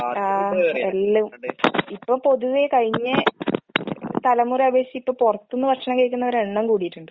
ആഹ് എല്ലാം. ഇപ്പം പൊതുവെ കഴിഞ്ഞ തലമുറയെ അപേക്ഷിച്ചിപ്പ പൊറത്ത്ന്ന് ഭക്ഷണം കഴിക്കുന്നവരുടെ എണ്ണം കൂടീട്ടിണ്ട്.